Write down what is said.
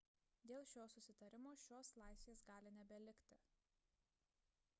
dėl šio susitarimo šios laisvės gali nebelikti